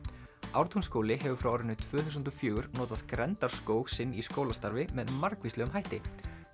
Ártúnsskóli hefur frá árinu tvö þúsund og fjögur notað sinn í skólastarfi með margvíslegum hætti